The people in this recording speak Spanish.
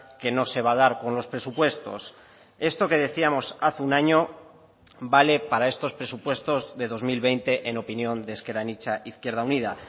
que no se va a dar con los presupuestos esto que decíamos hace un año vale para estos presupuestos de dos mil veinte en opinión de ezker anitza izquierda unida